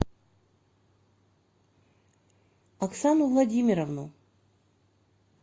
оксану владимировну